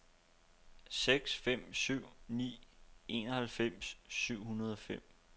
seks fem syv ni enoghalvfems syv hundrede og fem